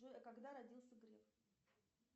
джой а когда родился греф